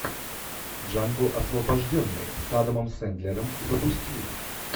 джанго освобожденный с адамом сендлером запусти